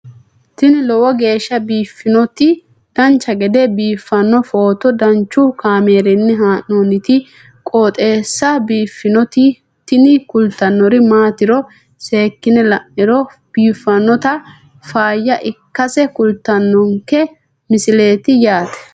tini lowo geeshsha biiffannoti dancha gede biiffanno footo danchu kaameerinni haa'noonniti qooxeessa biiffannoti tini kultannori maatiro seekkine la'niro biiffannota faayya ikkase kultannoke misileeti yaate